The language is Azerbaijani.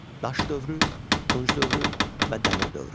Daş dövrü, Tunc dövrü və Dəmir dövrü.